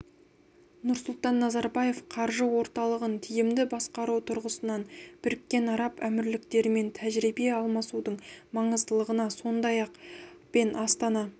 нұрсұлтан назарбаев қаржы орталығын тиімді басқару тұрғысынан біріккен араб әмірліктерімен тәжірибе алмасудың маңыздылығына сондай-ақ пен астана